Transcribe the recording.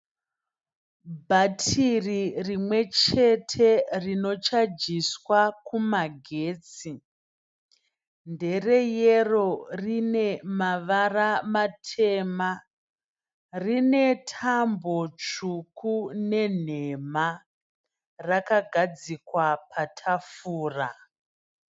Bhatiri rimwechete rinochajiswa kumagetsi. Ndereyero, rine mavara matema. Rine tambo tsvuku nenhema. Rakagadzikwa patafura.